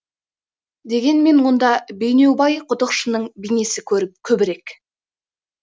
дегенмен онда бейнеубай құдықшының бейнесі көбірек